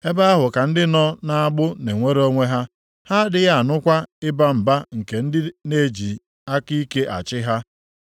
Ebe ahụ ka ndị nọ nʼagbụ na-enwere onwe ha, ha adịghị anụkwa ịba mba nke ndị na-eji aka ike achị ha.